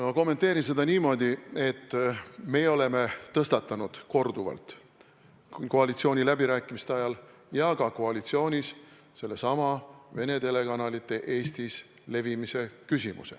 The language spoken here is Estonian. Ma kommenteerin seda niimoodi, et me oleme tõstatanud korduvalt nii koalitsiooniläbirääkimiste ajal kui ka koalitsioonis olles sellesama Vene telekanalite saadete Eestis levimise küsimuse.